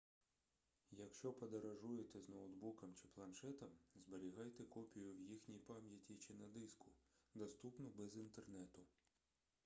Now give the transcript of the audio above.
якщо подорожуєте з ноутбуком чи планшетом зберігайте копію в їхній пам'яті чи на диску доступну без інтернету